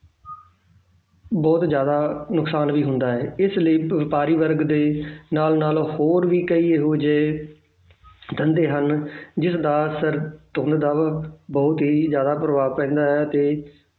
ਬਹੁਤ ਜ਼ਿਆਦਾ ਨੁਕਸਾਨ ਵੀ ਹੁੰਦਾ ਹੈ, ਇਸ ਲਈ ਵਪਾਰੀ ਵਰਗ ਦੇ ਨਾਲ ਨਾਲ ਹੋਰ ਵੀ ਕਈ ਇਹੋ ਜਿਹੇ ਧੰਦੇ ਹਨ, ਜਿਸ ਦਾ ਸਰ~ ਧੁੰਦ ਦਾ ਬਹੁਤ ਹੀ ਜ਼ਿਆਦਾ ਪ੍ਰਭਾਵ ਪੈਂਦਾ ਹੈ ਤੇ